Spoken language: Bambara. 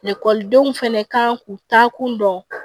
Ekɔlidenw fɛnɛ kan k'u taakun dɔn